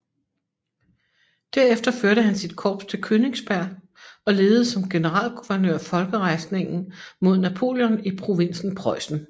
Derefter førte han sit korps til Königsberg og ledede som generalguvernør folkerejsningen mod Napoleon i provinsen Preussen